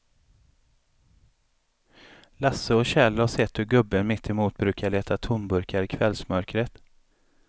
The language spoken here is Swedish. Lasse och Kjell har sett hur gubben mittemot brukar leta tomburkar i kvällsmörkret.